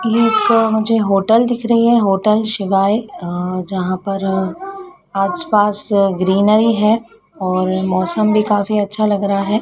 यह एक ठों मुझे होटल दिख रही है होटल शिवाय अं जहां पर अ आस पास ग्रीनरी है और मौसम भी काफी अच्छा लग रहा है।